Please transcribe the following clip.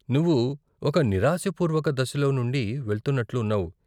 నువ్వు ఒక నిరాశాపూర్వక దశలో నుండి వెళ్తున్నట్లు ఉన్నావు.